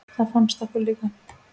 Það fannst okkur líka.